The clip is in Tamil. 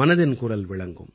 மனதின் குரல் விளங்கும்